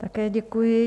Také děkuji.